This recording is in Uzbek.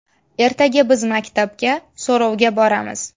Ertaga biz maktabga so‘rovga boramiz.